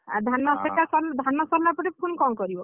ଧାନ କଟା ଧାନ ସରିଲା ପରେ ପୁଣି କ’ଣ କରିବ?